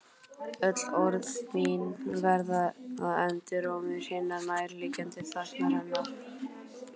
Öll orð mín verða endurómur hinnar nærandi þagnar hennar.